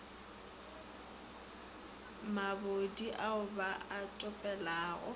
mabodi ao ba a topelelago